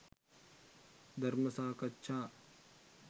ධර්ම සාකච්ඡා